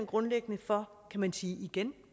grundlæggende for kan man sige igen